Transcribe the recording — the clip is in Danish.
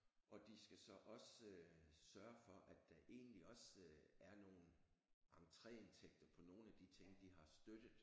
Og de skal så også sørge for at der egentlig også er nogen entréindtægter på nogle af de ting de har støttet